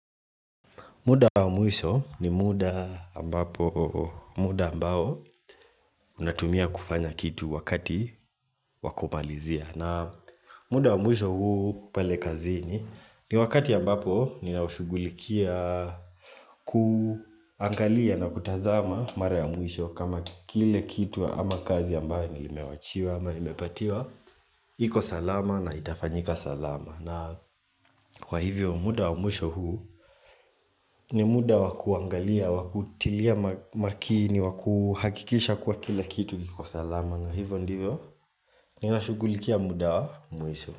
Muda wa mwisho ni muda ambapo muda ambao unatumia kufanya kitu wakati wa kumalizia. Na muda wa mwisho huu pale kazini ni wakati ambapo ninaushugulikia kuangalia na kutazama mara ya mwisho kama kile kitu ama kazi ambayo nilimewachiwa ama nimepatiwa. Iko salama na itafanyika salama na kwa hivyo muda wa mwisho huu ni muda wa kuangalia Wakutilia makini wa kuhakikisha kuwa kila kitu iko salama na hivo ndivyo ninashugulikia muda wa Mwisho.